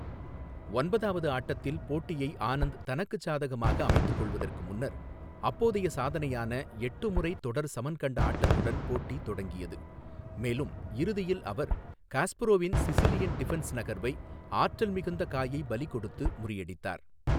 ஒன்பதாவது ஆட்டத்தில் போட்டியை ஆனந்த் தனக்குச் சாதகமாக அமைத்துக் கொள்வதற்கு முன்னர் அப்போதைய சாதனையான எட்டு முறை தொடர் சமன் கண்ட ஆட்டத்துடன் போட்டி தொடங்கியது, மேலும் இறுதியில் அவர் காஸ்பரோவின் சிசிலியன் டிஃபென்ஸ் நகர்வை ஆற்றல் மிகுந்த காயைப் பலி கொடுத்து முறியடித்தார்.